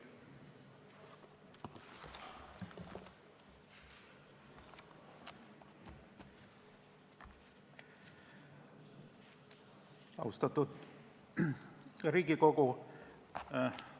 Austatud Riigikogu!